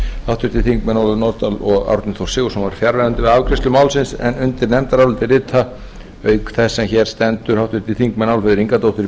háttvirtir þingmenn ólöf nordal og árni þór sigurðsson voru fjarverandi við afgreiðslu málsins undir nefndarálitið rita auk þess sem hér stendur háttvirtir þingmenn álfheiður ingadóttir